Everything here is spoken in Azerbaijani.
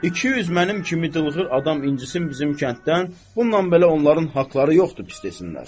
200 mənim kimi dılğır adam incisin bizim kənddən, bununla belə onların haqları yoxdur pis desinlər.